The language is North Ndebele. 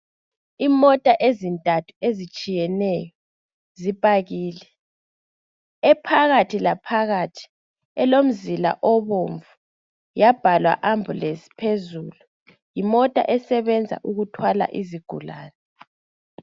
Imota ezintathu ezitshiyeneyo zipakile ephakathi la phakathi elomzila obomvu yabhalwa ambulance phezulu yimota esebenza ukuthwala izigulane.